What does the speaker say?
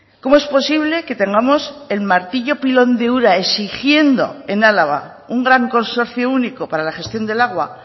cómo es posible que tengamos el martillo pilón de ura exigiendo en álava un gran consorcio único para la gestión del agua